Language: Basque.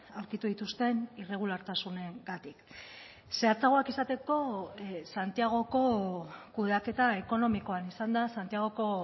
aurkitu dituzten irregulartasunengatik zehatzagoak izateko santiagoko kudeaketa ekonomikoan izan da santiagoko